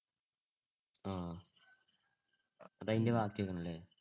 ആഹ് അത് അതിന്‍ടെ ബാക്കി ആയിരുന്നല്ലേ?